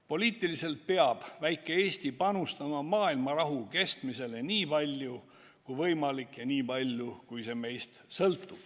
Poliitiliselt peab väike Eesti panustama maailmarahu kestmisele nii palju kui võimalik ja nii palju, kui see meist sõltub.